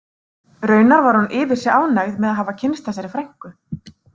Raunar var hún yfir sig ánægð með að hafa kynnst þessari frænku